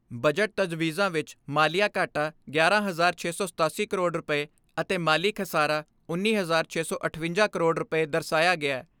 Budget ਤਜਵੀਜ਼ਾਂ ਵਿਚ ਮਾਲੀਆਂ ਘਾਟਾ ਗਿਆਰਾਂ ਹਜਾਰ ਛੇ ਸੌ ਸਤਾਸੀ ਕਰੋੜ ਰੁਪਏ ਅਤੇ ਮਾਲੀ ਖਸਾਰਾ ਉੱਨੀ ਹਜਾਰ ਛੇ ਸੌ ਅਠਵੰਜਾ ਕਰੋੜ ਰੁਪਏ ਦਰਸਾਇਆ ਗਿਐ।